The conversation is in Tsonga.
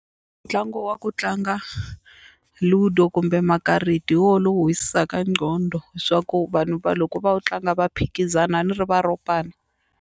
Ntlangu wa ku tlanga Ludo kumbe makarati hi woho lowu nqondo leswaku vanhu va loko va tlanga va phikizana a ni ri va ropana.